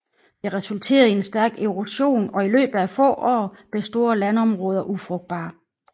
Det resulterede i en stærk erosion og i løbet af få år blev store landområder ufrugtbare